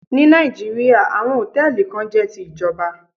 Ní Nàìjíríà, àwọn Hòtẹ́lìì kan jẹ́ ti ìjọba.